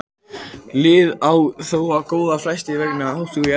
Liðið á þó tvo leiki til góða á flest lið vegna þátttöku í Evrópudeildinni.